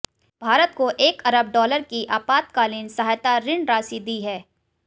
भारत को एक अरब डॉलर की आपातकालीन सहायता ऋण राशि दी है